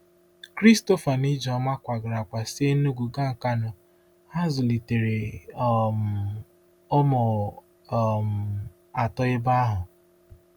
Christopher na Ijeoma kwagara kwa si Enugu gaa Nkanu, ha zụlitere um ụmụ um atọ ebe ahụ.